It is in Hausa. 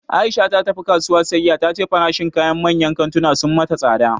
Aisha ta tafi kasuwa siyayya, ta ce farashin kayan manyan kantuna sun mata tsada